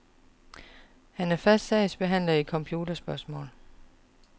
Han er fast sagsbehandler i computerspørgsmål.